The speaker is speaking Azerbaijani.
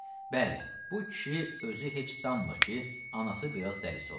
Bəli, bu kişi özü heç danmır ki, anası biraz dəlisovdur.